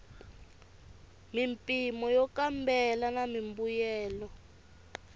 mimpimo yo kambela na mimbuyelo